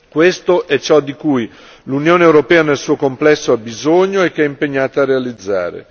Questo è ciò di cui l'Unione europea nel suo complesso ha bisogno e che è impegnata a realizzare.